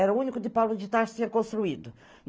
Era o único de Paulo tinha construído.